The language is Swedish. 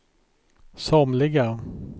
somliga